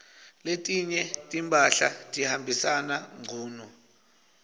letinye timphahla tihambisana ngcunu